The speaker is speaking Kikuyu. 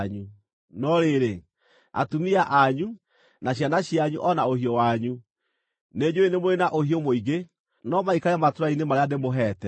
No rĩrĩ, atumia anyu, na ciana cianyu, o na ũhiũ wanyu (nĩnjũũĩ nĩ mũrĩ na ũhiũ mũingĩ) no maikare matũũra-inĩ marĩa ndĩmũheete,